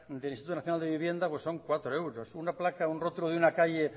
del instituto nacional de vivienda son cuatro euros una placa un rotulo de una calle